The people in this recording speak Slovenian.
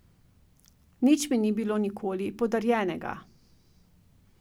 Nič mi ni bilo nikoli podarjenega.